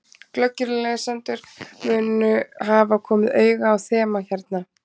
Glöggir lesendur munu hafa komið auga á þema hérna.